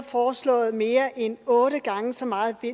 foreslået mere end otte gange så meget i